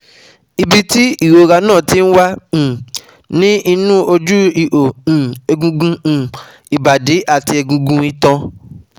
Ibi tí ìrora náà ti ń wá um ni inú oju iho um egungun um ibadi ati egungun itan